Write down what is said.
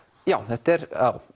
já þetta er